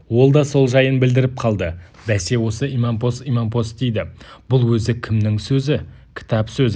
ол да сол жайын білдіріп қалды бәсе осы имампос-имампос дейді бұл өзі кімнің сөзі кітап сөзі